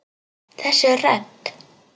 Þessi rödd!